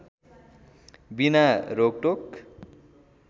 बिना रोकटोक